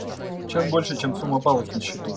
чем больше чем сумма баллов на счету